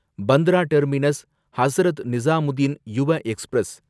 Bandra terminus Hazrat Nizamuddin Yuva express